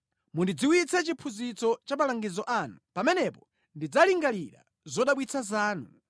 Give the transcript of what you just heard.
Mundidziwitse chiphunzitso cha malangizo anu; pamenepo ndidzalingalira zodabwitsa zanu.